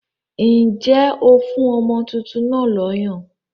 Ǹjẹ́ ó fún ọmọ tuntun náà lọ́yàn?